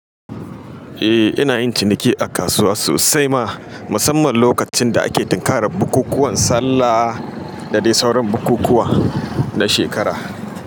Eh, ina yin ciniki a kasuwa sosai ma, musamman lokacin da ake tinkarar bukukuwan Sallah da dai sauran bukukuwa na shekara.